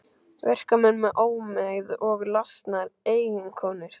Verkamenn með ómegð og lasnar eiginkonur.